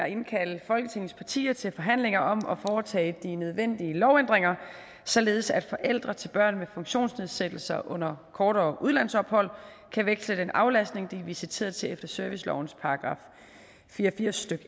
at indkalde folketingets partier til forhandlinger om at foretage de nødvendige lovændringer således at forældre til børn med funktionsnedsættelser under kortere udlandsophold kan veksle den aflastning de er visiteret til efter servicelovens § fire og firs stykke